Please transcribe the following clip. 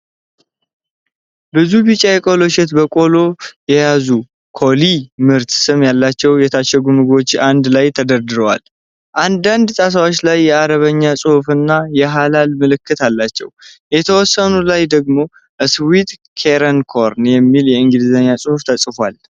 ብዙ ቢጫ የቆሎ እሸት በቆሎ የያዙ የ"KOLLY" ምርት ስም ያላቸው የታሸጉ ምግቦች አንድ ላይ ተደርድረዋል። አንዳንድ ጣሳዎች ላይ የአረብኛ ጽሑፍና የሀላል ምልክት አላቸው። የተወሰኑት ላይ ደግሞ "Sweet Kernel Corn" የሚል የእንግሊዝኛ ጽሑፍ ተጽፏል።